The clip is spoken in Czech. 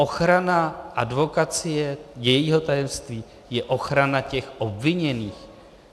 Ochrana advokacie, jejího tajemství, je ochrana těch obviněných.